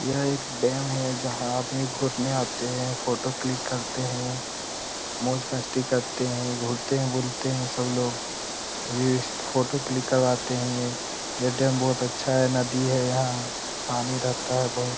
यह एक डैम है जहाँ आदमी घूरने आते हैं फोटो क्लिक करते हैं मोज-मस्ती करते हैं । घूमते हैं बुलते हैं सब लोग फोटो क्लिक करवाते हैं । यह डैम बहुत अच्छा है नदी है यहाँ पानी रहता है बहुत ।